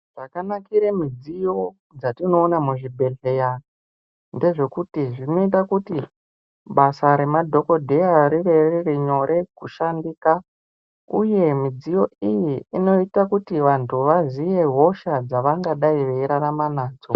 Zvakanakire midziyo dzatinoona muzvibhedhleya ndezvekuti zvinoita kuti basa remadhokodheya rive riri nyore kushandika, uye midziyo iyi inoita kuti vantu vazive hosha dzevangai veirarama nadzo.